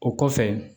O kɔfɛ